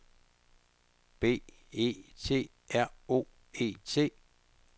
B E T R O E T